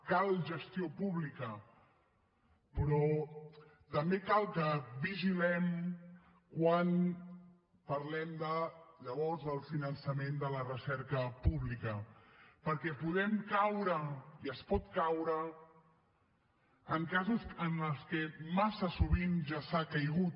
cal gestió pública però també cal que vigilem quan parlem de llavors el finançament de la recerca pública perquè podem caure i es pot caure en casos en què ja massa sovint ja s’ha caigut